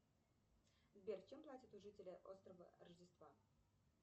сбер чем платят жители острова рождества